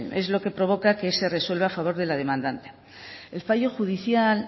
es lo que provoca que se resuelva a favor de la demandante el fallo judicial